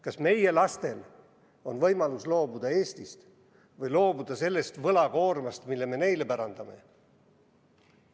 Kas meie lastel on võimalus loobuda Eestist või loobuda sellest võlakoormast, mille me neile pärandame?